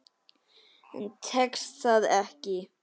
En tekst það ekki.